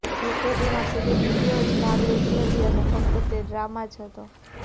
જો કે તેમાં સેલિબ્રિટીઓ જ ભાગ લેતી હતી અને ફક્ત તે ડ્રામા જ હતો